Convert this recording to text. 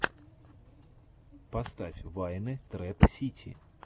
поставь вайны трэп сити